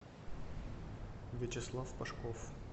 вячеслав пашков